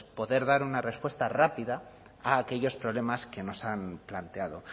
pues poder dar una respuesta rápida a aquellos problemas que nos han planteado